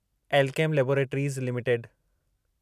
Alkem laboratories limited